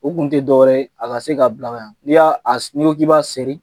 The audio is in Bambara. U kun tɛ dɔ wɛrɛ ye, a ka se ka bila ka ɲan, n'i y'a seri n'i ko k'i b' seri